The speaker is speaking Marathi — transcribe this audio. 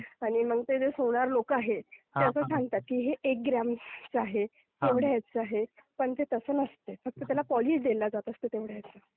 आणि मग ते सोनार लोकं आहेत ते असं सांगतात की हे एक ग्रामचं आहे, एवढ्या ह्याचं आहे, पण ते तसे नसते फक्त त्याला पॉलिश दिला जात असते तेवढा.